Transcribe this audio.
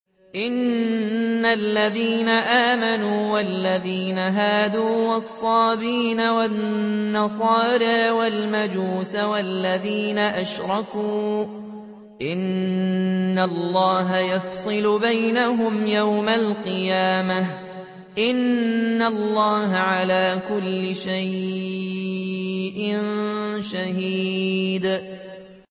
إِنَّ الَّذِينَ آمَنُوا وَالَّذِينَ هَادُوا وَالصَّابِئِينَ وَالنَّصَارَىٰ وَالْمَجُوسَ وَالَّذِينَ أَشْرَكُوا إِنَّ اللَّهَ يَفْصِلُ بَيْنَهُمْ يَوْمَ الْقِيَامَةِ ۚ إِنَّ اللَّهَ عَلَىٰ كُلِّ شَيْءٍ شَهِيدٌ